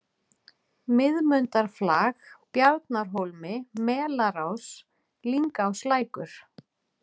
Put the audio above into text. Miðmundarflag, Bjarnarhólmi, Melarás, Lyngáslækur